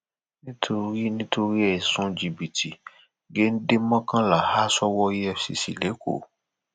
nítorí nítorí ẹsùn jìbìtì géńdé mọkànlá ha sọwọ efcc lẹkọọ